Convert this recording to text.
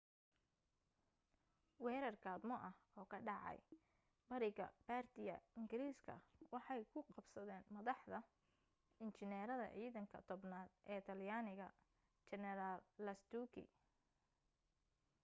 weerar gaadmo ah oo ka dhacay bariga bardia ingiriiska waxay ku qabsadeen madaxa injineerada ciidanka tobnaad ee talyaaniga jeneraal lastucci